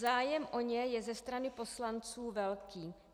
Zájem o ně je ze strany poslanců velký.